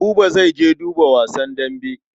Buba zai je duba wasan dambe.